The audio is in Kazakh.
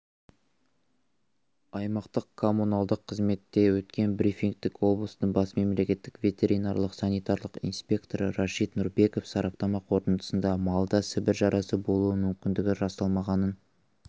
аймақтық коммуналдық қызметте өткен брифингте облыстың бас мемлекеттік ветеринарлық санитарлық инспекторы рашид нұрбеков сараптама қорытындысында малда сібір жарасы болу мүмкіндігі расталмағанын